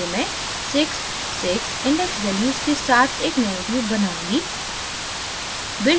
आगे मैं 66 index values के साथ एक nanotube बनाऊँगी